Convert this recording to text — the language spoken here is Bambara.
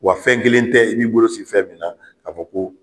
Wa fɛn kelen tɛ i b'i bolo sigi fɛn min na k'a fɔ ko